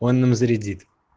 он нам зарядит